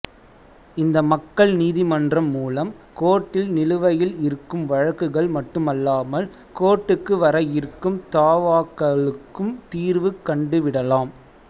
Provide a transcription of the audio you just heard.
இந்த மக்கள் நீதிமன்றம் மூலம் கோர்டில் நிலுவையில் இருக்கும் வழக்குகள் மட்டுமல்லாமல் கோர்ட்டுக்கு வர இருக்கும் தாவாக்களுக்கும் தீர்வு கண்டுவிடலாம்